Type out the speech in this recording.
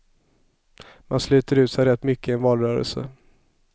Man sliter ut sig rätt mycket i en valrörelse.